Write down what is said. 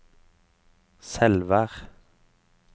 Selvær